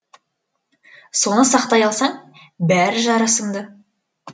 соны сақтай алсаң бәрі жарасымды